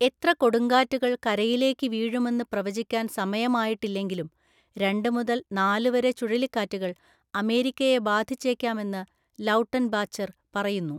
എത്ര കൊടുങ്കാറ്റുകൾ കരയിലേക്ക് വീഴുമെന്ന് പ്രവചിക്കാൻ സമയമായിട്ടില്ലെങ്കിലും, രണ്ട് മുതൽ നാല് വരെ ചുഴലിക്കാറ്റുകൾ അമേരിക്കയെ ബാധിച്ചേക്കാമെന്ന് ലൗട്ടൻബാച്ചർ പറയുന്നു.